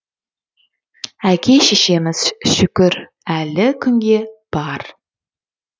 әке шешеміз шүкір әлі күнге бар